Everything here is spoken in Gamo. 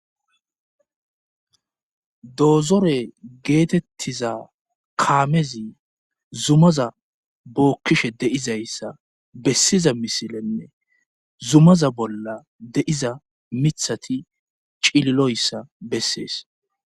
doozore geetettiza kaamezi zumaza bookkishe de7izayssa bessiza misilenne zumaza bolla de7iza mithati cililoyssa bessees